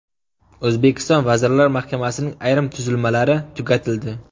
O‘zbekiston Vazirlar Mahkamasining ayrim tuzilmalari tugatildi.